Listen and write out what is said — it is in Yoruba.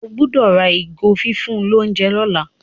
o gbódò rà ìgò fífún l'ounjẹ lola.